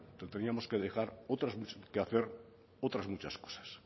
teníamos que dejar otras muchas que hacer otras muchas cosas